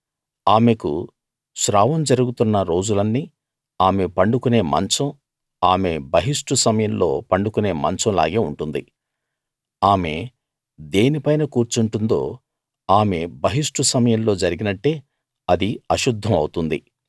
ఆమెకు స్రావం జరుగుతున్న రోజులన్నీ ఆమె పండుకునే మంచం ఆమె బహిష్టు సమయంలో పండుకునే మంచం లాగే ఉంటుంది ఆమె దేని పైన కూర్చుంటుందో ఆమె బహిష్టు సమయంలో జరిగినట్టే అది అశుద్ధం అవుతుంది